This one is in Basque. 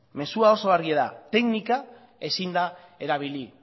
mezua oso argia da teknika ezin da erabili